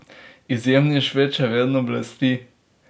Izjemni Šved še vedno blesti!